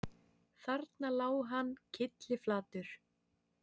Þarna lá hann kylliflatur